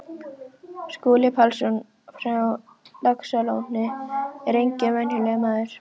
Skúli Pálsson frá Laxalóni er enginn venjulegur maður.